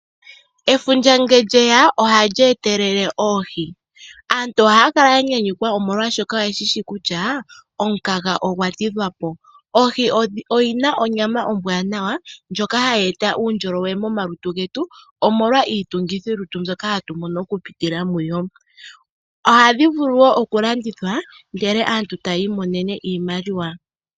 Efundja ngele lye ya ohali etelele oohi. Aantu oha ya kala ya nyanyukwa omolwashoka oyeshi shi kutya omukaga ogwa tidhwa po. Oohi odhina onyama ombwanawa ndjoka hayi eta uundjolowele momalutu getu omolwa iitungithilutu mbyoka hatu mono okupitila mudho. Ohadhi vulu wo okulandithwa ndele aantu taya imonene iimaliwa.